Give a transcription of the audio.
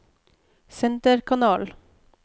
senterkanal